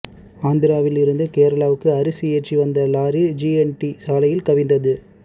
ஆந்திராவில் இருந்து கேரளாவுக்கு அரிசி ஏற்றி வந்த லாரி ஜிஎன்டி சாலையில் கவிழ்ந்தது